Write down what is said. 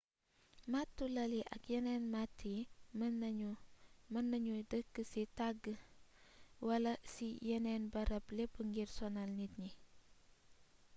màttu lal yi ak yeneen matt yi mën nañu dëkk ci tàgg wala ci yeneen barab lépp ngir sonal nit ñi